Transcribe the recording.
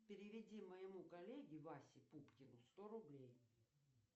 переведи моему коллеге васе пупкину сто рублей